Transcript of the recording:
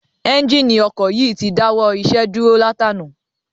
Ẹ́njíìnì ọkọ̀ yìí ti dáwọ́ iṣẹ́ dúró látànàá.